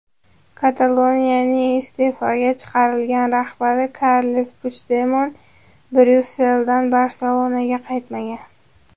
Kataloniyaning iste’foga chiqarilgan rahbari Karles Puchdemon Bryusseldan Barselonaga qaytmagan.